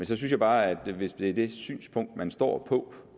synes jeg bare at hvis det er det synspunkt man står på